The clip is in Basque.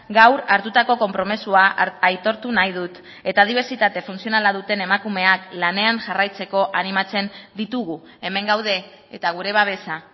gaur hartutako konpromisoa aitortu nahi dut eta dibertsitate funtzionala duten emakumeak lanean jarraitzeko animatzen ditugu hemen gaude eta gure babesa